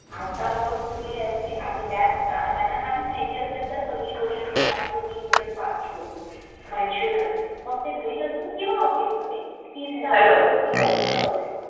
आजकाल लोक भुके असतात आणि त्यांना ते त्याच्या मनात जी गोष्ट येते म्हणजे ती फास्ट फूड